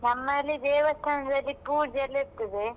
ನಮ್ಮಲ್ಲಿ ದೇವಸ್ಥಾನದಲ್ಲಿ ಪೂಜೆಯೆಲ್ಲ ಇರ್ತದೆ.